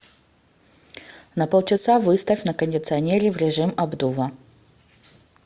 на полчаса выставь на кондиционере в режим обдува